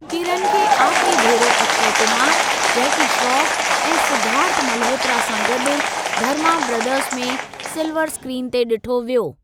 किरन खे आख़िरी भेरो अक्षय कुमार, जैकी श्रोफ ऐं सिद्धार्थ मल्होत्रा सां गॾु धर्मा ब्रदर्स़ में सिलवर स्क्रीन ते ॾिठो वियो।